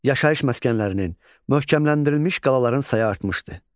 Yaşayış məskənlərinin, möhkəmləndirilmiş qalaların sayı artmışdı.